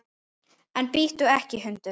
En bíttu ekki, hundur!